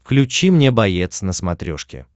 включи мне боец на смотрешке